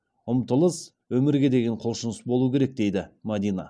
ұмтылыс өмірге деген құлшыныс болу керек дейді мадина